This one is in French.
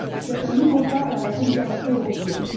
C'est un nouveau pas vers la solidarité européenne.